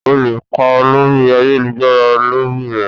O lè kà lórí ayélujára lórí rẹ̀.